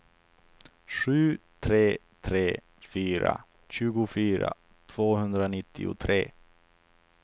sju tre tre fyra tjugofyra tvåhundranittiotre